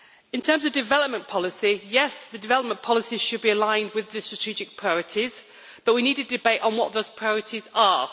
In terms of development policy, yes development policy should be aligned with the strategic priorities, but we need a debate on what those priorities are.